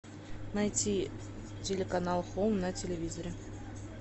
найти телеканал хоум на телевизоре